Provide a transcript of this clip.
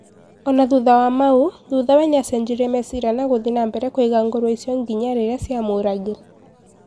ona thutha wa mau, thuthawe niacenjirie meeciria na guthie nambere kuiga ngũrũwe icio nginya riria ciamũragire.